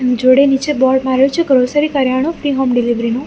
જોડે નીચે બોર્ડ માર્યું છે ગ્રોસરી કર્યાણુ ફ્રી હોમ ડિલિવરી નુ.